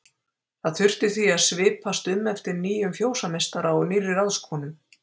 Það þurfti því að svipast um eftir nýjum fjósameistara og nýrri ráðskonu.